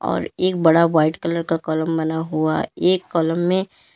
और एक बड़ा व्हाइट कलर का कॉलम बना हुआ एक कॉलम में--